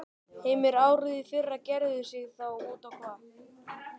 Heimir: Árið í fyrra gerði sig þá út á hvað?